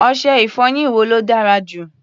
Ọṣẹ-ìfọyín wo ló dára jù?